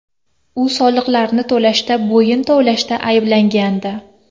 U soliqlarni to‘lashda bo‘yin tovlashda ayblangandi.